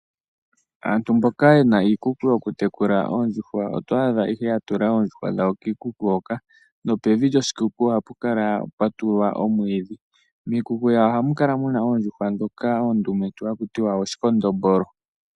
Aantu mboka yena iikuku yokutekula oondjuhwa otwaadha ihe yatula oondjuhwa dhawo kiikuku hoka, nopevi lyoshikuku ohapukala pwatulwa omwiidhi, miikuku yawo ohamukala muna oondjuhwa dhoka oondumentu hakutiwa ooshikondombolo.